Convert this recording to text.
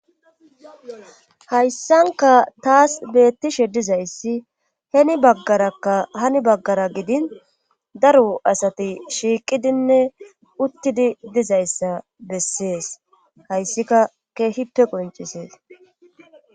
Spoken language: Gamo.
hayssanka taas beettishe dizayssi heni baggarakka hani baggara gidin daru asati shiiqidinne uttidi dizayssa bessees hayssika keehippe qoncisees